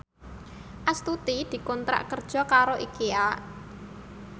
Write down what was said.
Astuti dikontrak kerja karo Ikea